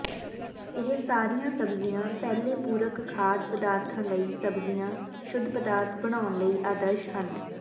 ਇਹ ਸਾਰੀਆਂ ਸਬਜ਼ੀਆਂ ਪਹਿਲੇ ਪੂਰਕ ਖਾਧ ਪਦਾਰਥਾਂ ਲਈ ਸਬਜ਼ੀਆਂ ਸ਼ੁੱਧ ਪਦਾਰਥ ਬਣਾਉਣ ਲਈ ਆਦਰਸ਼ ਹਨ